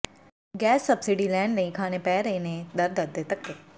gas subsidy ਲੈਣ ਲਈ ਖਾਣੇ ਪੈ ਰਹੇ ਨੇ ਦਰ ਦਰ ਦੇ ਧੱਕੇ